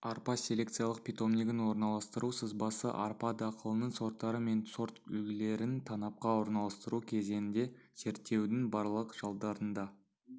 арпа селекциялық питомнигін орналастыру сызбасы арпа дақылының сорттары мен сортүлгілерін танапқа орналастыру кезінде зерттеудің барлық жылдарында